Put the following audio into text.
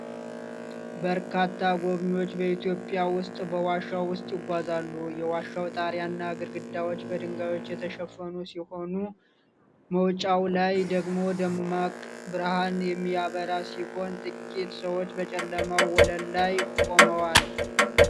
በርካታ ጎብኝዎች በኢትዮጵያ ውስጥ በዋሻ ውስጥ ይጓዛሉ። የዋሻው ጣሪያና ግድግዳዎች በድንጋዮች የተሸፈኑ ሲሆኑ፣ መውጫው ላይ ደግሞ ደማቅ ብርሃን የሚበራ ሲሆን፣ ጥቂት ሰዎች በጨለመው ወለል ላይ ቆመዋል።